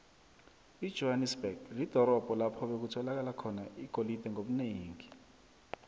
ijohanesberg lidorobho lapho bekutholakala khona igolide ngobunengi